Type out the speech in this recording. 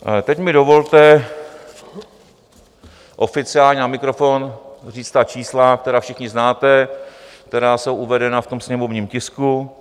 Teď mi dovolte oficiálně na mikrofon říct ta čísla, která všichni znáte, která jsou uvedena v tom sněmovním tisku.